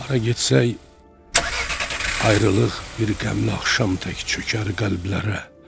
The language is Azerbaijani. Hara getsək, ayrılıq bir qəmli axşam tək çökər qəlblərə.